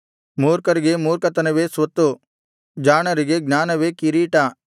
ಮೂರ್ಖರಿಗೆ ಮೂರ್ಖತನವೇ ಸ್ವತ್ತು ಜಾಣರಿಗೆ ಜ್ಞಾನವೇ ಕಿರೀಟ